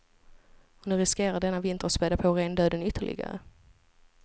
Och nu riskerar denna vinter att späda på rendöden ytterligare.